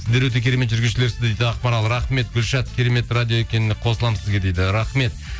сіздер өте керемет жүргізушілерсіздер дейді ақмарал рахмет гүлшат керемет радио екеніне қосыламын сізге дейді рахмет